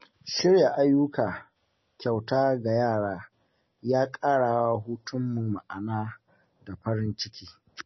Shirya ayyuka kyauta ga yara ya ƙara wa hutunmu ma’ana da farin ciki.